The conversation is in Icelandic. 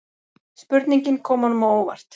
Spurningin kom honum á óvart.